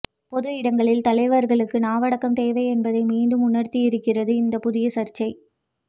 பொது இடங்களில் தலைவர்களுக்கு நாவடக்கம் தேவை என்பதை மீண்டும் உணர்த்தியிருக்கிறது இந்த புதிய சர்ச்சை